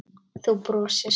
Þú brosir.